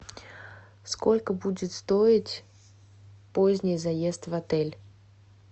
сколько будет стоить поздний заезд в отель